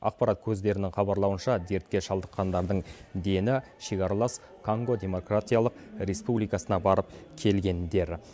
ақпарат көздерінің хабарлауынша дертке шалдыққандардың дені шекаралас конго демократиялық республикасына барып келгендер